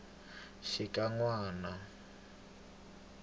xikanyana